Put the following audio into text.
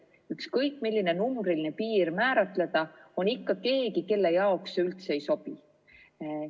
Ükskõik, milline numbriline piir määratleda, on ikka keegi, kelle jaoks see üldse ei sobi.